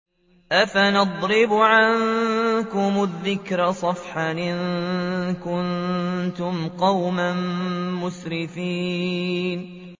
أَفَنَضْرِبُ عَنكُمُ الذِّكْرَ صَفْحًا أَن كُنتُمْ قَوْمًا مُّسْرِفِينَ